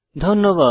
ধন্যবাদ